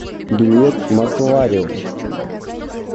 билет москвариум